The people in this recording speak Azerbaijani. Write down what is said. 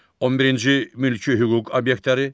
11-ci mülki hüquq obyektləri.